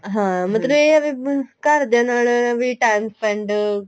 ਹਾਂ ਮਤਲਬ ਇਹ ਹੈ ਵੀ ਹੁਣ ਘਰਦਿਆਂ ਨਾਲ ਵੀ time spend